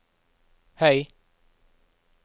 høy